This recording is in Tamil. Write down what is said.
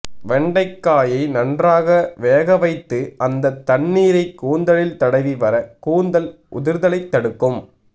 வெண்டைக்காயை நன்றாக வேக வைத்து அந்த தண்ணீரை கூந்தலில் தடவி வர கூந்தல் உதிர்தலை தடுக்கும்